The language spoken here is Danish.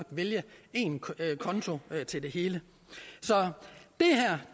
vælge én konto til det hele så